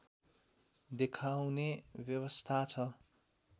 देखाउने व्यवस्था छ